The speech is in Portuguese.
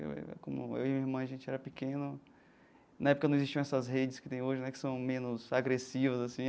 Eu como eu e minha irmã, a gente era pequeno, na época não existiam essas redes que tem hoje né, que são menos agressivas assim.